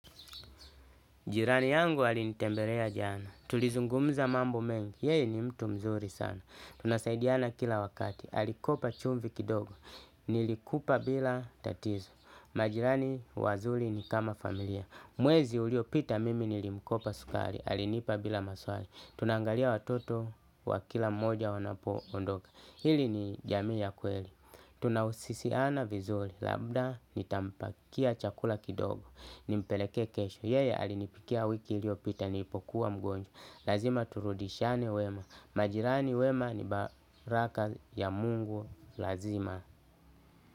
Jirani yangu alinitembelea jana, tulizungumza mambo mengi, yeye ni mtu mzuri sana. Tunasaidiana kila wakati, alikopa chumvi kidogo, nilikupa bila tatizo. Majirani wazuri ni kama familia, mwezi uliopita mimi nilimkopa sukari, alinipa bila maswali. Tunaangalia watoto wa kila mmoja wanapo ondoka, hili ni jamii ya kweli. Tunahusisiana vizuri, labda nitampakia chakula kidogo. Nimpelekee kesho, yeye alinipikia wiki iliopita nilipokuwa mgonjwa. Lazima turudishiane wema. Majirani wema ni baraka ya Mungu lazima.